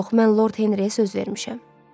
Yox, mən Lord Henriyə söz vermişəm.